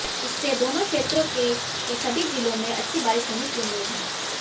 इससे दोनो क्षेत्रों के के सभी जिलों में अच्छी बारिश होने की उम्मीद है